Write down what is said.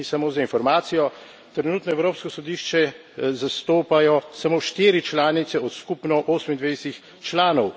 In samo za informacijo trenutno Evropsko sodišče zastopajo samo štiri članice od skupno 28 članov.